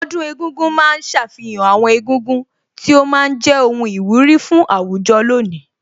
Ọdún egúngún ma ń ṣàfihàn àwọn egúngún tí ó ma ń jẹ́ ohun ìwúrí fún àwùjọ lónìí